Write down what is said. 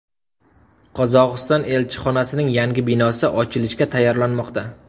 Qozog‘iston elchixonasining yangi binosi ochilishga tayyorlanmoqda.